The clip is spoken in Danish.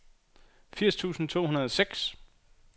firs tusind to hundrede og seks